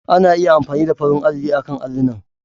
Ana iya amfani da farin alli akan allunan.